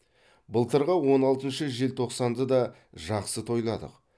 былтырғы он алтыншы желтоқсанды да жақсы тойладық